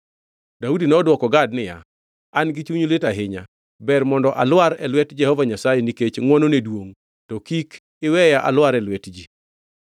Daudi nodwoko Gad niya, “An-gi chuny lit ahinya. Ber mondo alwar e lwet Jehova Nyasaye, nikech ngʼwonone duongʼ, to kik iweya alwar e lwet ji.”